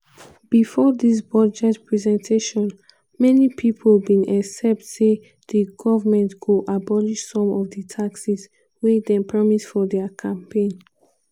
bifor dis budget presentation many pipo bin expect say di goment go abolish some of di taxes wey dem promise for dia campaign.